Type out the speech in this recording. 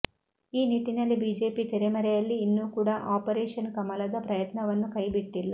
ಈ ನಿಟ್ಟಿನಲ್ಲಿ ಬಿಜೆಪಿ ತೆರೆಮರೆಯಲ್ಲಿ ಇನ್ನೂ ಕೂಡ ಆಪರೇಷನ್ ಕಮಲದ ಪ್ರಯತ್ನವನ್ನು ಕೈ ಬಿಟ್ಟಿಲ್ಲ